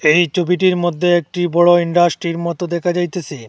এই ছবিটির মধ্যে একটি বড়ো ইন্ডাস্ট্রির মতো দেখা যাইতেসে।